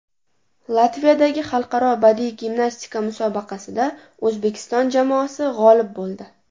Latviyadagi xalqaro badiiy gimnastika musobaqasida O‘zbekiston jamoasi g‘olib bo‘ldi.